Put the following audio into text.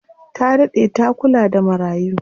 Ta daɗe ta kula da marayu.